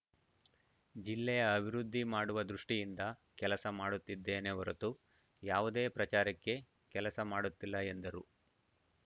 ಜಿಲ್ಲೆಯ ಅಭಿವೃದ್ಧಿ ಮಾಡುವ ದೃಷ್ಟಿಯಿಂದ ಕೆಲಸ ಮಾಡುತ್ತಿದ್ದೇನೆ ಹೊರತು ಯಾವುದೇ ಪ್ರಚಾರಕ್ಕೆ ಕೆಲಸ ಮಾಡುತ್ತಿಲ್ಲ ಎಂದರು